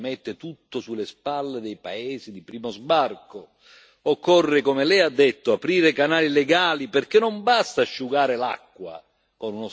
Occorre, come Lei ha detto, aprire canali legali, perché non basta asciugare l'acqua con uno straccio se il rubinetto resta aperto.